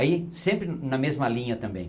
Aí, sempre na mesma linha também.